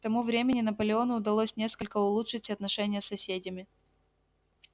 к тому времени наполеону удалось несколько улучшить отношения с соседями